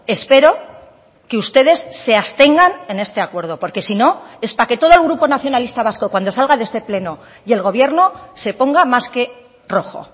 espero que ustedes se abstengan en este acuerdo porque si no es para que todo el grupo nacionalista vasco cuando salga de este pleno y el gobierno se ponga más que rojo